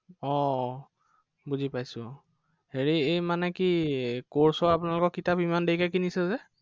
আহ আহ বুজি পাইছো আহ হেৰি এৰ মানে কি মদহীো ৰ আপোনালোকৰ কিতাপ ইমান দেৰিকে কিনিছে যে?